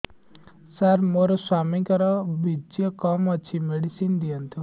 ସାର ମୋର ସ୍ୱାମୀଙ୍କର ବୀର୍ଯ୍ୟ କମ ଅଛି ମେଡିସିନ ଦିଅନ୍ତୁ